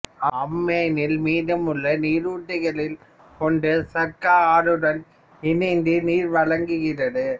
அம்மானில் மீதமுள்ள நீருற்றுகளில் ஒன்று சர்கா ஆறுடன் இணைந்து நீர் வழங்குகிறது